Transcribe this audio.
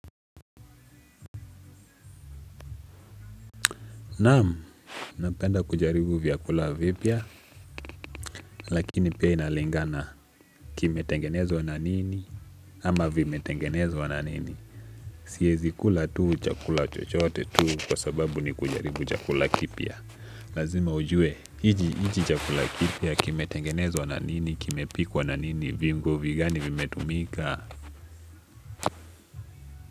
Naam, napenda kujaribu vyakula vipya, lakini pia inalingana kimetengenezwa na nini, ama vimetengenezwa na nini. Siezi kula tu chakula chochote tuu kwa sababu ni kujaribu chakula kipya. Lazima ujue, iji chakula kipya kime tengenezwa na nini, kime pikwa na nini, viungo vigani vimetumika.